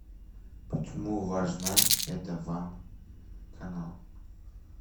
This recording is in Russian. почему важно это вам канал